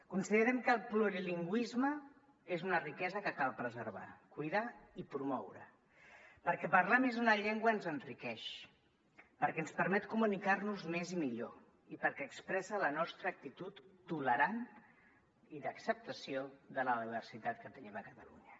considerem que el plurilingüisme és una riquesa que cal preservar cuidar i promoure perquè parlar més d’una llengua ens enriqueix perquè ens permet comunicar nos més i millor i perquè expressa la nostra actitud tolerant i d’acceptació de la diversitat que tenim a catalunya